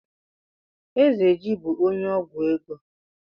Ezeji bú onye ọgwụ ego.